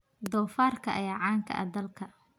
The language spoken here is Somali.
Doofaarka ayaa caan ka ah dalka.